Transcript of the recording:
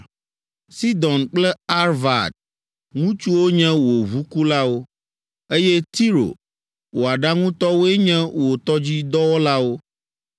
Sidon kple Arvad ŋutsuwo nye wò ʋukulawo, eye Tiro, wò aɖaŋutɔwoe nye wò tɔdzidɔwɔlawo.